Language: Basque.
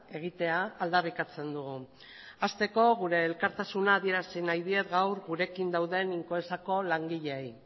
egitea aldarrikatzen dugu hasteko gure elkartasuna adierazi nahi diet gaur gurekin dauden incoesako langileei